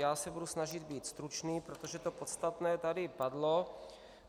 Já se budu snažit být stručný, protože to podstatné tady padlo.